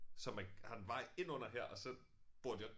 Så man har en vej indunder her og så bor de også